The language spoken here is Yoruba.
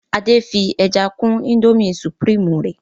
Ade fí ẹja kún Indomie supreme rẹ